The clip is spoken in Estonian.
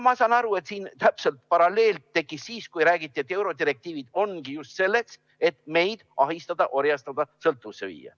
Ma saan aru, et siin tekkis täpselt sama paralleel siis, kui räägiti, et eurodirektiivid ongi just selleks, et meid ahistada, orjastada, sõltuvusse viia.